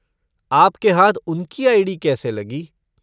आपके हाथ उनकी आई.डी. कैसे लगी?